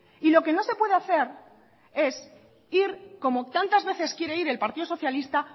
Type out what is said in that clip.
y lo que no se puede hacer es ir como tantas veces quiere ir el partido socialista